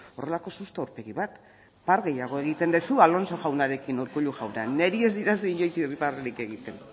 horrelako susto aurpegi bat par gehiago egiten duzu alonso jaunarekin urkullu jauna neri ez didazu inoiz irribarrerik bat egiten